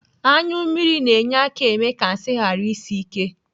Anyụmmiri na-enye aka eme ka nsị ghara isi ike.